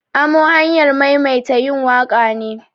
Amo hanyar maimaita yin waƙa ne.